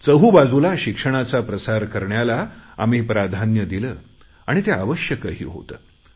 चहूबाजूला शिक्षणाचा प्रसार करण्याला आम्ही प्राधान्य दिले आणि ते आवश्यकही होते